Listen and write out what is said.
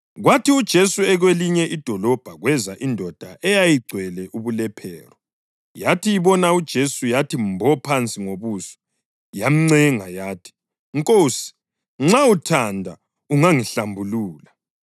Kwathi uJesu ekwelinye lamadolobho kweza indoda eyayigcwele ubulephero. Yathi ibona uJesu yathi mbo phansi ngobuso yamncenga yathi, “Nkosi, nxa uthanda ungangihlambulula.”